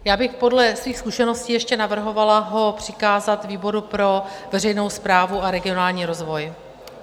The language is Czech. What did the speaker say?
Já bych podle svých zkušeností ještě navrhovala ho přikázat výboru pro veřejnou správu a regionální rozvoj.